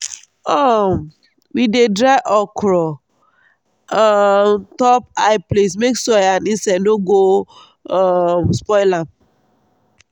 um we dey dry okra um on top high place make soil and insects no go um spoil am.